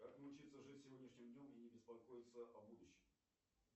как научиться жить сегодняшним днем и не беспокоиться о будушем